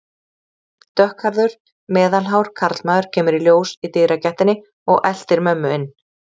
Dökkhærður, meðalhár karlmaður kemur í ljós í dyragættinni og eltir mömmu inn.